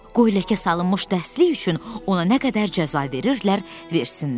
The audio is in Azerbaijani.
Qoy ləkə salınmış dərsliyi üçün ona nə qədər cəza verirlər, versinlər.